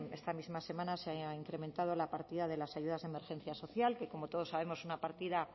esta misma semana se ha incrementado la partida de las ayudas de emergencia social que como todos sabemos es una partida